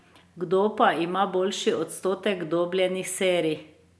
Kdo pa ima boljši odstotek dobljenih serij?